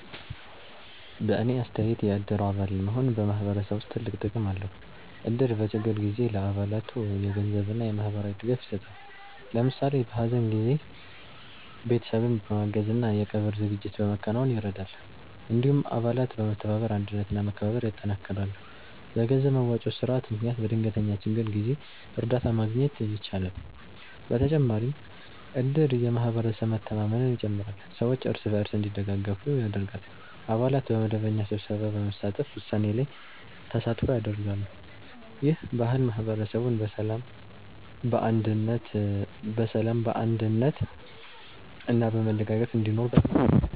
በእኔ አስተያየት የእድር አባል መሆን በማህበረሰብ ውስጥ ትልቅ ጥቅም አለው። እድር በችግር ጊዜ ለአባላቱ የገንዘብ እና የማህበራዊ ድጋፍ ይሰጣል። ለምሳሌ በሀዘን ጊዜ ቤተሰብን በማገዝ እና የቀብር ዝግጅት በማከናወን ይረዳል። እንዲሁም አባላት በመተባበር አንድነት እና መከባበር ያጠናክራሉ። በገንዘብ መዋጮ ስርዓት ምክንያት በድንገተኛ ችግር ጊዜ እርዳታ ማግኘት ይቻላል። በተጨማሪም እድር የማህበረሰብ መተማመንን ይጨምራል፣ ሰዎች እርስ በርስ እንዲደጋገፉ ያደርጋል። አባላት በመደበኛ ስብሰባ በመሳተፍ ውሳኔ ላይ ተሳትፎ ያደርጋሉ። ይህ ባህል ማህበረሰቡን በሰላም፣ በአንድነት እና በመደጋገፍ እንዲኖር በጣም ያግዛል።